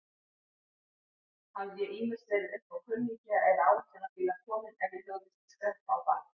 Hafði ég ýmist verið uppá kunningja eða áætlunarbíla kominn ef ég hugðist skreppa á bak.